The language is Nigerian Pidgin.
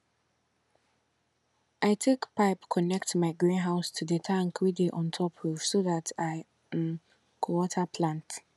i take pipe connect my greenhouse to the tank wey dey on top roof so dat i um go water plants